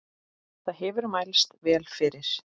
Það hefur mælst vel fyrir.